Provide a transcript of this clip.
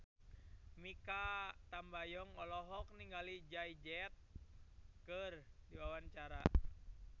Mikha Tambayong olohok ningali Jay Z keur diwawancara